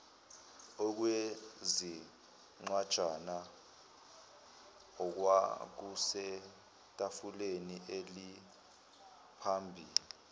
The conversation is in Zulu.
okwezincwajana okwakusetafuleni elaliphambi